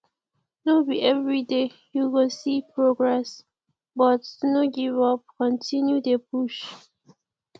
no be everyday you go see progress but no give up continue dey push